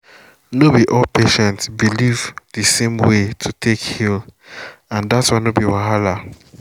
no bi all patient believe the same way way to take heal and that one no be wahala.